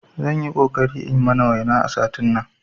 Zanyi ƙoƙari in mana waina a satin nan